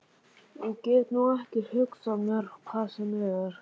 Ég get nú ekki hugsað mér hvað sem er.